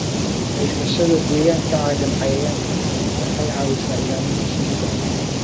Haysashada deegaan ka caagan cayayaanka waxay caawisaa ilaalinta shinnida.